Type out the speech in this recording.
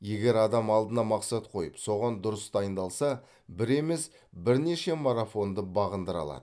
егер адам алдына мақсат қойып соған дұрыс дайындалса бір емес бірнеше марафонды бағындыра алады